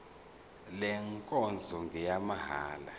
le nkonzo ngeyamahala